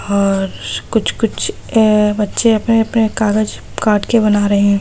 और कुछ कुछ अ बच्चे अपने अपने कागज काट के बना रहे हैं।